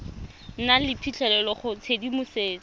nang le phitlhelelo go tshedimosetso